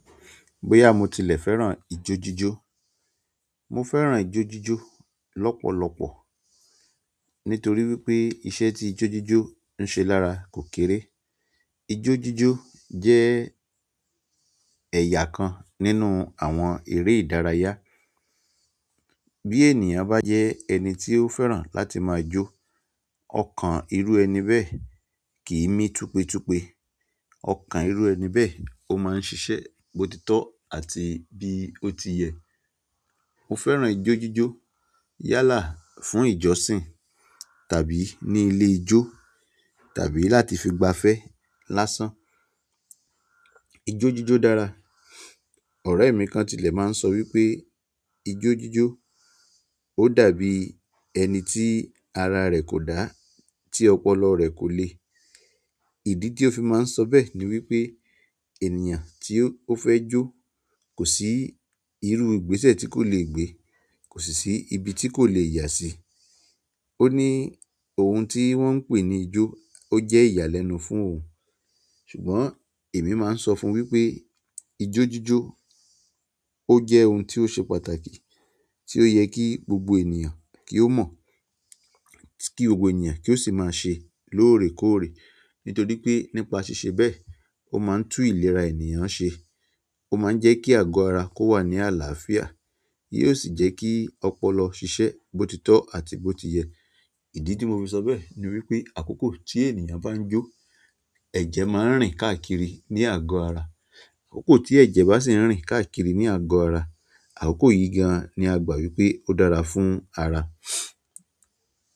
Boya mo tilẹ̀ fẹ́ràn ijójíjó. Mo fẹ́ràn ijójíjó lọ́pọ̀lọpọ̀ nítorí wípé iṣẹ́ tí ijójíjó ń ṣe lára kò kéré. Ijójíjó jẹ́ ẹ̀yà kan nínú àwọn eré ìdárayá. Bí ènìyàn bá jẹ ẹni tí ó fẹ́ràn láti máa jó, ọkàn irú ẹni bẹ́ẹ̀ kì í mí tupétupé. Ọkàn irú ẹni bẹ́ẹ̀ ó máa ń ṣiṣẹ́ bótitọ́ àti bí ó ti yẹ. Mo fẹ́ràn ijójíjó yálà fún ìjọsìn tàbí ní ilé ijó tàbí láti fi gba fẹ́ lásán. Ijójíjó dára. Ọ̀rẹ́ mi kan tilẹ̀ máa ń sọ wípé ijójíjó ó dàbí ẹni tí ara rẹ̀ kò dá, tí ọpọlọ rẹ̀ kò le. Ìdí tí ó fi máa ń sọ bẹ́ẹ̀ ni wípé ènìyàn tí ó fẹ́ jó kò sí irú ìgbésẹ̀ tí kò le gbé, kò sì sí ibi tí kò le yà sí. Ó ní ohun tí wọ́n ń pè ní ijó ó jẹ́ ìyàlẹ́nu fún òun. Ṣùgbọ́n emi maa n sọfun wípé ijójíjó o jẹ ohun ti o se pàtàkì ti o yẹ ki gbogbo ènìyàn ki o mọ, ki gbogbo ènìyàn ki o si maa se loorekoore. Nítorí pé nípa ṣíṣe bẹ́ẹ̀ ó máa ń tú ìlera ènìyàn ṣe, ó máa ń jẹ́ kí àgọ́ ara kó wà ní àlàáfíà, yóò sì jẹ́ kí ọpọlọ ṣiṣẹ́ bótitọ́ àti bó ti yẹ. Ìdí tí mo fi sọ bẹ́ẹ̀ ni wípé àkókò tí ènìyàn bá ń jó ẹ̀jẹ̀ máa ń rìn káàkiri ní àgọ́ ara. Àkókò tí ẹ̀jẹ̀ bá sì ń rìn káàkiri ní àgọ́ ara, àkókò yìí gan an ni a gbà wípé ó dára fún ara.